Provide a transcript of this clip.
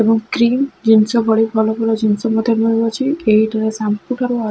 ଏବଂ କ୍ରିମ ଜିନିଷ ଭଳି ଭଲ ଭଲ ଜିନିଷ ମଧ୍ୟ ମିଳୁଅଛି। ଏହିଠାରେ ସାମ୍ପୁ ଠାରୁ ଆ--